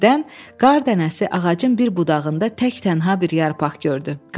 Birdən qar dənəsi ağacın bir budağında tək-tənha bir yarpaq gördü.